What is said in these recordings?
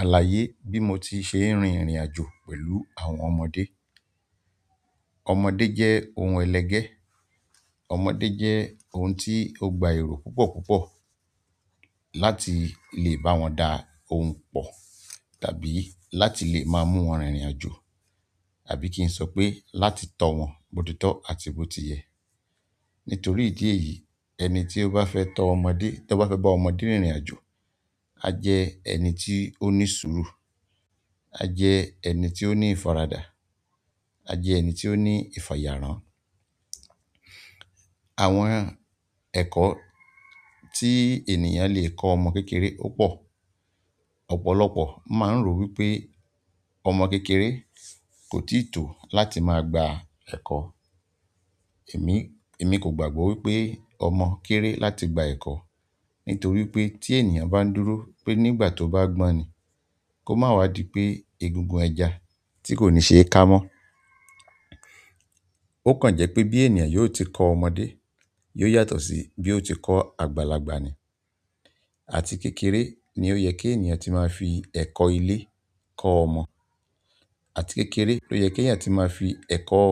Àlàyé bí mo ti ṣe ń rin ìrìnàjò pẹ̀lú àwọn ọmọdé. Ọmọdé jẹ́ ohun ẹlẹgẹ́, ọmọdé jẹ́ ohun tí ó gba erò púpọ̀ púpọ̀ láti lè bá wọn da ohun pọ̀, tàbí láti lè maá mú wọn rìnrìnàjò, àbí kí n sọ pé láti tọ́ wọn bó titọ́ àti bó tiyẹ́. Nítorí ìdí èyí, ẹni tí ó bá fẹ́ tọ́ ọmọdé, tó bá fẹ́ bá ọmọdé rìnrìnàjò, a jẹ́ ẹni tí ó ní sùúrù, a jẹ́ ẹni tí ó ní ìfaradà, a jẹ́ ẹni tí ó ní ìfàyàrán. Àwọn ẹ̀kọ́ tí ènìyàn lè kọ́ ọmọ kékeré ó pọ̀. Ọ̀pọ̀lọpọ̀ maa n ro wípé, ọmọ kékeré ko tii to láti maa gba eko. Emi, emi ko gbagba wípé, ọmọ kere láti gba eko. Nítorí pé tí ènìyàn bá n dúró pé nígbà tó bá gbọ́n ni, kó máa wá di pé egungun ẹja tí kò ní ṣe e ká mọ́. O kan je pe bi ènìyàn yóò ti ko ọmọdé, yóò yàtọ̀ si bi o ti ko àgbàlagbà ni. Àti kékeré ni o ye ki ènìyàn ti maa fi eko ile ko ọmọ àti kékeré ló yẹ keẹ̀yan ti máa fi ẹ̀kọ́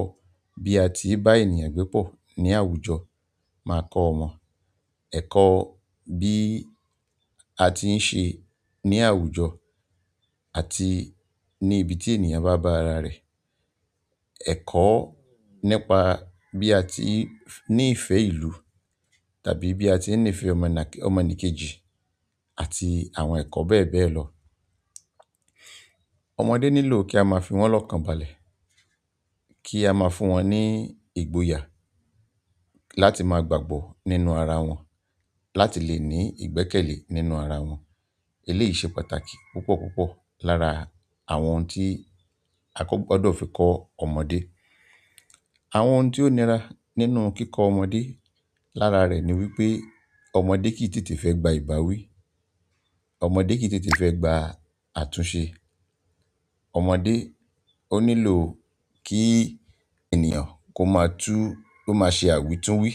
bí a ti ń bá ènìyàn gbẹ́ pọ̀ ní àwùjọ máa kọ́ ọmọ. Eko bi àti n se ni àwùjọ àti ni ibi ti ènìyàn ba ba are re. Ẹ̀kọ́ nípa bí a ti ń ní ìfẹ́ ìlú tàbí bí a ti ń nífẹ́ ọmọnàke-- ọmọnìkejì àti àwọn ẹ̀kọ́ bẹ́ẹ̀ bẹ́ẹ̀ lọ. Ọmọdé nílò kí a máa fi wọ́n lọ́kànbalẹ̀, kí a máa fún wọn ní ìgboyà láti máa gbàgbọ́ nínú ara wọn, láti lè ní ìgbẹ́kẹ̀lé nínú ara wọn. Eléyìí ṣe pàtàkì púpọ̀ púpọ̀ lára àwọn ohun tí a ko gbọdọ̀ fi kọ́ ọmọdé. Àwọn ohun tí ó nira nínú kíkọ́ ọmọdé lára rẹ̀ ni wípé ọmọdé kì í tètè fẹ́ gba ìbáwí, ọmọdé kì í tètè fẹ́ gba àtúnṣe. Ọmọdé ó nílò kí ènìyàn kó máa túú-- kó máa ṣe àwítúwí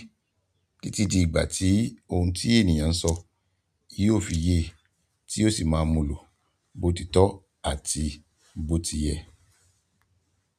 títí di ìgbà tí ohun tí ènìyàn ń sọ yóò fi ye, ti yio si maa mulo botito àti botiye.